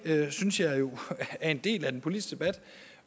synes jeg jo er en del af den politiske debat